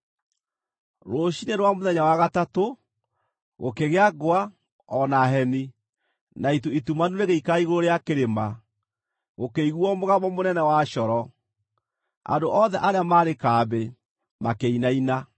Rũciinĩ rwa mũthenya wa gatatũ, gũkĩgĩa ngwa o na heni, na itu itumanu rĩgĩikara igũrũ rĩa kĩrĩma, gũkĩiguuo mũgambo mũnene wa coro. Andũ othe arĩa maarĩ kambĩ, makĩinaina.